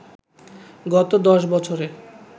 গত ১০ বছরে